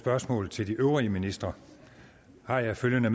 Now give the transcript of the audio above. spørgsmål til de øvrige ministre har jeg følgende